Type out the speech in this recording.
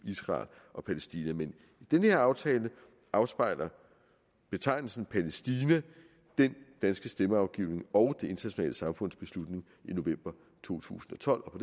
israel og palæstina men i den her aftale afspejler betegnelsen palæstina den danske stemmeafgivning og det internationale samfunds beslutning i november to tusind og tolv og